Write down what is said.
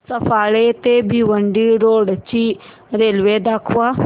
सफाळे ते भिवंडी रोड ची रेल्वे दाखव